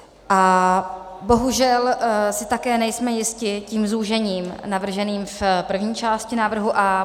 A bohužel si také nejsme jisti tím zúžením navrženým v první části návrhu A.